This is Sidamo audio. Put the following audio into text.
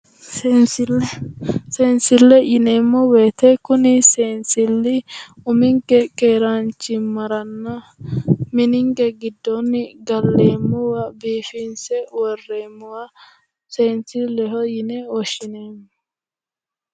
Seenisille seenisilleho yineemo woyite kuni seenisilli uminike keeranichimaranna mininike gidoonni Galeemowa biifinise worreemowa seenisilleho yine woshineemo